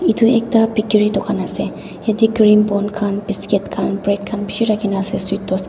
etu ekta bakery dokan ase yate cream bon khan biscuit khan bread khan beshi rakhi na ase sweet toast kha .